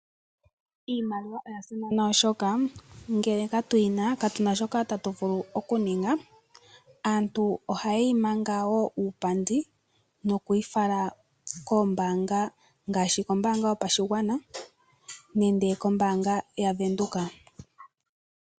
Iimaliwa oya simana oshoka, ngele katu yina katuna shoka ta tu vulu oku ninga. Aantu oha yi imanga wo uupandi noku yi fala koombaanga, ngaashi ombaanga yopashigwana nenge kombaanga ya Venduka.